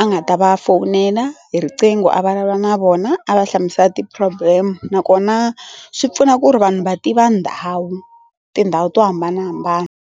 a nga ta va fowunela hi riqingho a vulavula na vona a va hlamusela ti-problem nakona swi pfuna ku ri vanhu va tiva ndhawu tindhawu to hambanahambana.